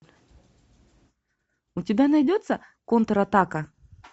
у тебя найдется контратака